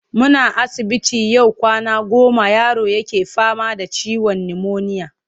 Muna asibiti yau kwana goma yaro yake fama da ciwon nimoniya.